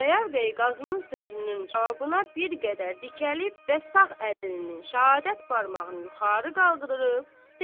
Xudayar bəy Qazının sözünün cavabına bir qədər dikəlib və sağ əlinin şəhadət barmağını yuxarı qaldırıb dedi: